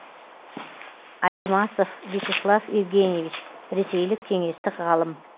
алемасов вячеслав евгеньевич ресейлік кеңестік ғалым